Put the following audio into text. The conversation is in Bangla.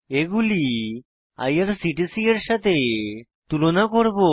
এগুলি আইআরসিটিসি এর সাথে তুলনা করব